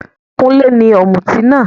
Kúnlé ní òmùtí náà.